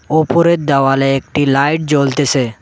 ওপরের দেওয়ালে একটি লাইট জ্বলতেসে।